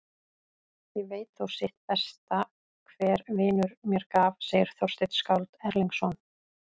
Ég veit þó sitt besta hver vinur mér gaf, segir Þorsteinn skáld Erlingsson.